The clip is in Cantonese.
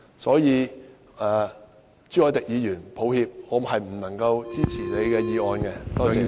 所以，朱凱廸議員，抱歉，我不能夠支持你的議案。